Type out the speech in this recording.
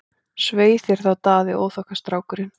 Svei þér Daði, óþokkastrákurinn!